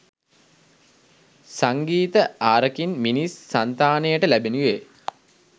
සංගීත ආරකින් මිනිස් සංතානයට ලැබෙනුයේ